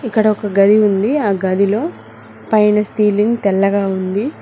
ఇక్కడ ఒక గది ఉంది ఆ గదిలో పైన సీలింగ్ తెల్లగా ఉంది